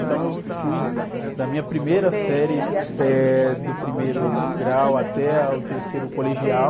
Então eu fui da minha primeira série, eh, do primeiro grau até o terceiro colegial.